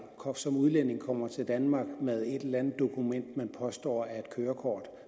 som udlænding kommer til danmark med et eller andet dokument man påstår er et kørekort